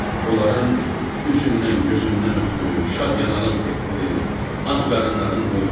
Onların üzündən, gözündən öpdü, şad-yarağlıq etdi, ac qarınların doydurdu.